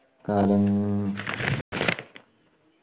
കാലങ്